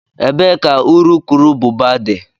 Ebee ka urukurubụba dị?